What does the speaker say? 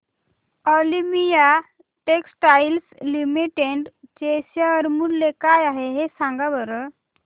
Olympia textiles limited चे share मूल्य काय आहे सांगा बरं